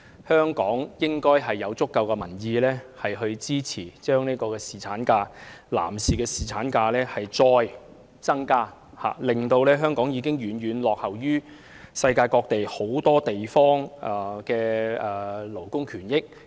香港應有足夠的民意支持再增加侍產假，以改善香港遠遠落後於世界各地的勞工權益。